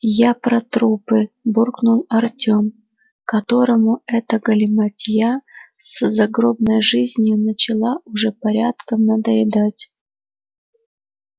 я про трупы буркнул артем которому эта галиматья с загробной жизнью начала уже порядком надоедать